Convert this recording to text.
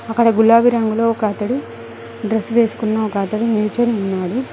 అక్కడ గులాబీ రంగులో ఒక అతడు డ్రెస్ వేసుకున్న ఒక అతడు నిల్చొని ఉన్నాడు.